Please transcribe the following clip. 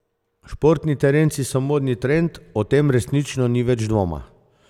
Športni terenci so modni trend, o tem resnično ni več dvoma.